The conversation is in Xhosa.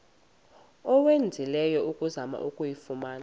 owenzileyo ukuzama ukuyifumana